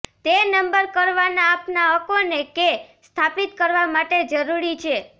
તે નંબર કરવાનાં આપનાં હકોને કે સ્થાપિત કરવા માટે જરૂરી છે